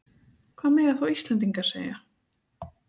Hvað mega þá Íslendingar segja?